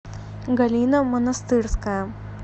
галина монастырская